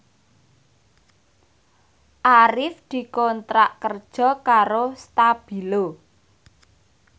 Arif dikontrak kerja karo Stabilo